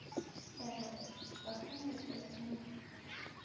Herleifur, slökktu á niðurteljaranum.